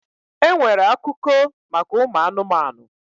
E nwere akuko maka ụmụ anụmanụ.